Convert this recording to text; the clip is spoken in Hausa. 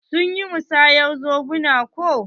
Sun yi musayar zobuna ko?